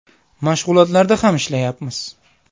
Mashg‘ulotlarda ham ishlayapmiz.